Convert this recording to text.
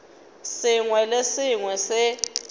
sengwe le se sengwe se